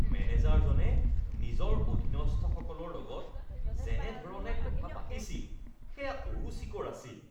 মেনেজাৰজনে নিজৰ অধীনস্থসকলৰ লগত যেনে ধৰণে কথা পাতিছিল সেয়া অৰুচিকৰ আছিল